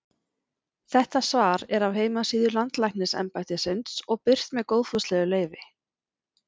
Þetta svar er af heimasíðu Landlæknisembættisins og birt með góðfúslegu leyfi.